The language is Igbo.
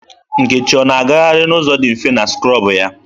Nkechi ọ na-agaharị n'ụzọ dị mfe na skrọbụ ya?